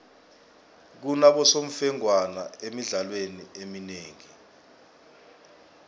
kunabosemfengwana emidlalweni eminengi